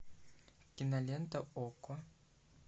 кинолента окко